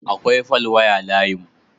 Akwai falwaya layinmu.